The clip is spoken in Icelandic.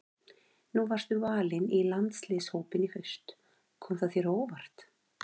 Nú varstu valinn í landsliðshópinn í haust, kom það þér á óvart?